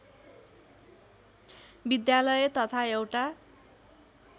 विद्यालय तथा एउटा